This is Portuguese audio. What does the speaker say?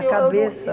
A cabeça.